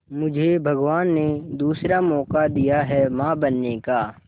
मुझे भगवान ने दूसरा मौका दिया है मां बनने का